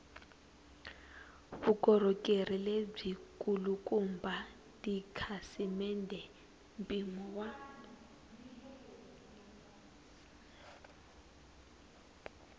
vukorhokeri lebyikulukumba tikhasimende mpimo wa